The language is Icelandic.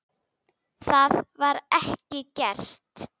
Það var ekki gert.